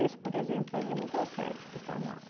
Esse, por exemplo, ele não consegue ficar na aula.